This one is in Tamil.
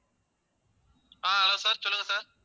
ஆஹ் hello sir சொல்லுங்க sir